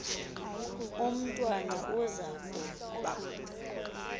umntwana uza kuba